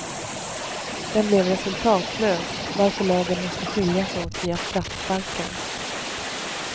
Den blev resultatlös, varför lagen måste skiljas åt via straffsparkar.